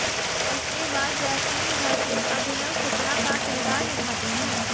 इसके बाद जैस्मीन भसीन अभिनव शुक्ला का किरदार निभाते हैं